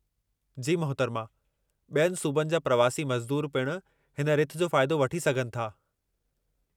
जी मुहतरमा, ॿियनि सूबनि जा प्रवासी मज़दूरु पिण हिन रिथ जो फ़ाइदो वठी सघनि था।